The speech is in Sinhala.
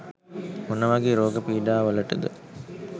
මොන වගේ රෝග පීඩාවලටද?